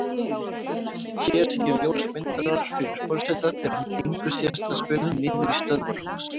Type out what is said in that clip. Hér sitja ljósmyndarar fyrir forseta þegar hún gengur síðasta spölinn niður í stöðvarhús.